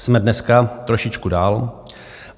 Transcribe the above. Jsme dneska trošičku dál.